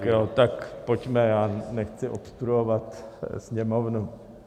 Tak jo, tak pojďme, já nechci obstruovat Sněmovnu.